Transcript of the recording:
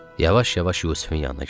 Yavaş-yavaş Yusifin yanına gəldi.